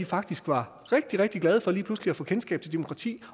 faktisk var rigtig rigtig glade for lige pludselig at få kendskab til demokratiet